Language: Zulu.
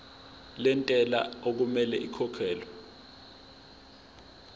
lentela okumele ikhokhekhelwe